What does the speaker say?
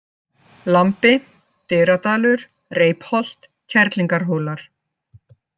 Lambi, Dyradalur, Reipholt, Kerlingarhólar